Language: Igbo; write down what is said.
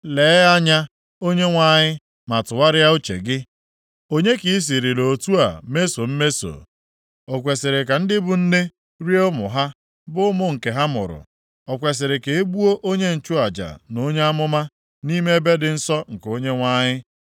“Lee anya, Onyenwe anyị, ma tụgharịa uche gị. Onye ka i sirila otu a mesoo mmeso? O kwesiri ka ndị bụ nne rie ụmụ ha, bụ ụmụ nke ha mụrụ? O kwesiri ka e gbuo onye nchụaja na onye amụma nʼime ebe dị nsọ nke Onyenwe anyị?